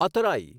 અતરાઈ